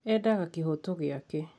Endaga kĩhoto gĩake